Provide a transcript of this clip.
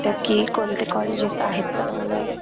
कि कोणते colleges आहेत चांगले.